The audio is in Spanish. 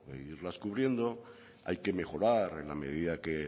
irlas cubriendo hay que mejorar en la medida que